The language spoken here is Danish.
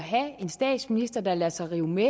en statsminister der lader sig rive med